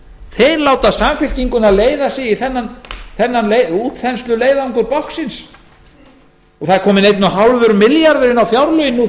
þeir láta samfylkinguna leiða sig í þennan útþensluleiðangur báknsins nú þegar eru eins og hálft milljarðar inni